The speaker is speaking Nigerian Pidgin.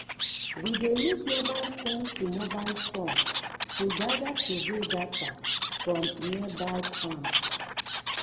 we dey use mobile form to mobile form to gather survey data from nearby farms.